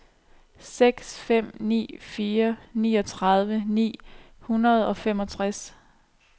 seks fem ni fire niogtredive ni hundrede og femogtres